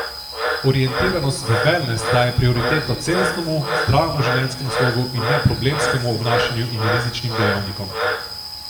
Orientiranost v velnes daje prioriteto celostnemu, zdravemu življenjskemu slogu in ne problemskemu obnašanju in rizičnim dejavnikom.